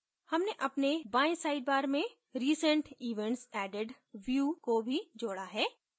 हमने अपने बाईं sidebar में recent events added view को भी जोड़ा है